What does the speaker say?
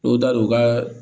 O da o ka